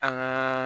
An ka